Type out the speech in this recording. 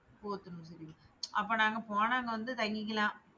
போத்தனூர் அப்போ நாங்க போனா அங்க வந்து தங்கிக்கலாம்.